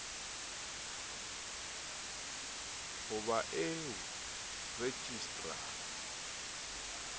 ho ba eo rejistra a